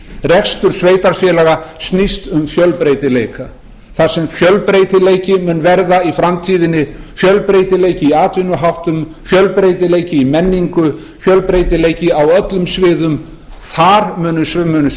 rekstur sveitarfélaga snýst um fjölbreytileika þar sem fjölbreytileiki mun verða í framtíðinni fjölbreytileiki í atvinnuháttum fjölbreytileiki í menningu fjölbreytileiki á öllum sviðum þar mun sumum